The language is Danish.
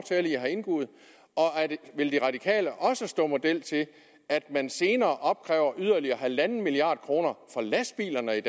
vil de radikale også stå model til at man senere opkræver yderligere halv milliard kroner fra lastbilerne i